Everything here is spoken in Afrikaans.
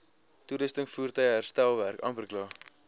toerusting voertuie herstelwerk